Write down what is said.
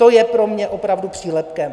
To je pro mě opravdu přílepkem.